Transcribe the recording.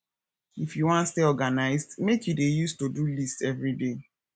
if you wan stay organized make you dey use todo list everyday